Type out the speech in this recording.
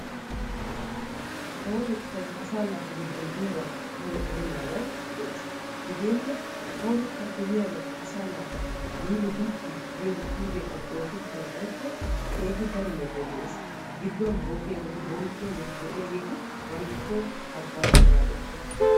kawotettay asaa naatu giddon diyabaa daro erennabay de'es. hegeenne kawotettaappe yiyaabay asaa naata yiidi gakki giyogee pilggettay oosettana xayikko keehi daro metoy des. gidduwan boggiyageeti bonqqiyageeti de'iyageeti bantta soo haggaazzaa zaaroosona.